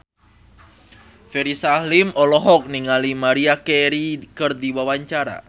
Ferry Salim olohok ningali Maria Carey keur diwawancara